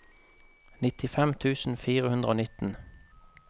nittifem tusen fire hundre og nitten